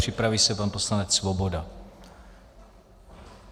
Připraví se pan poslanec Svoboda.